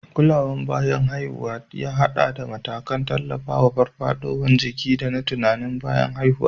Kulawar bayan haihuwa ya haɗa da matakan tallafawa farfaɗowar jiki da na tunanin uwa bayan haihuwa.